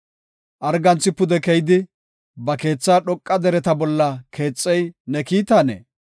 Arganthi pude keyidi, ba keethaa dhoqa dereta bolla keexey ne kiitanee?